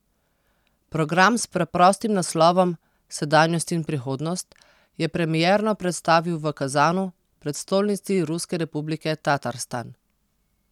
Program s preprostim naslovom Sedanjost in prihodnost, je premierno predstavil v Kazanu, prestolnici ruske republike Tatarstan.